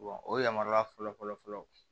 o yamaruya fɔlɔ fɔlɔ fɔlɔ